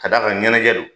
Ka d'a kan ɲɛnajɛ don